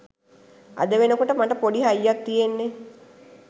අද වෙන කොට මට පොඩි හයියක් තියෙන්නේ